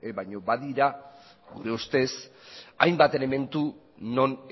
baina badira gure ustez hainbat elementu non